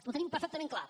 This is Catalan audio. ho tenim perfectament clar